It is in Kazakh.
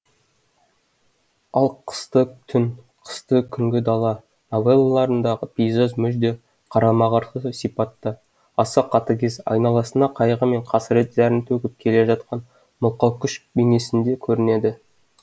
ал қысты түн қысты күнгі дала новеллаларындағы пейзаж мүлде қарама қарсы сипатта аса қатыгез айналасына қайғы мен қасірет зәрін төгіп келе жатқан мылқау күш бейнесінде көрінеді